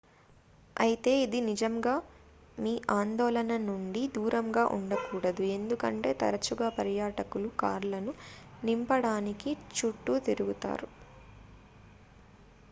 అయితే ఇది నిజంగా మీ ఆందోళన నుండి దూరంగా ఉండకూడదు ఎందుకంటే తరచుగా పర్యాటకులు కార్లను నింపడానికి చుట్టూ తిరుగుతారు